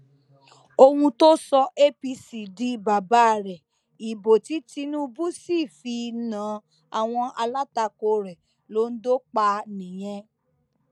ohun tó sọ apc di bàbá rèé ìbò tí tinubu sì fi na àwọn alátakò rẹ londo pa nìyẹn